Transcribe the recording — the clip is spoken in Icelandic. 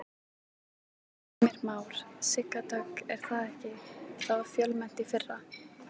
Þór Jónsson: Davíð, heilsufarslegar ástæður eru þær einhverjar fyrir þessari ákvörðun þinni?